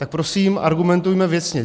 Tak prosím argumentujme věcně!